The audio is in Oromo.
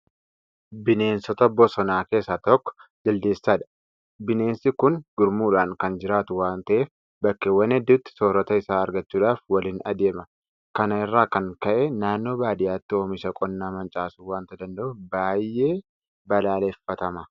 Bineensota bosonaa keessaa tokko Jaldeessadha. Bineensi kun gurmuudhaan kan jiraatu waanta ta'eef bakkeewwan hedduutti soorrata isaa argachuudhaaf waliin adeema. Kana irraa kan ka'e naannoo baadiyyaatti oomisha qonnaa mancaasuu waanta danda'uuf baay'ee balaaleffatama.